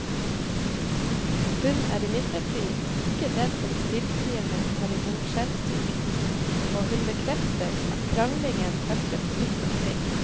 Hun er imidlertid ikke den som stilltiende tar imot skjellsord, og hun bekrefter at kranglingen hørtes vidt omkring.